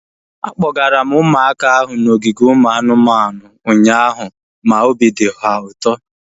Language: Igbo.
Akpọgara m ụmụaka ahu n'ogige ụmụ anụmanụ ụnyaahụ ma obi dị ha ụtọ